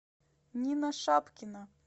нина шапкина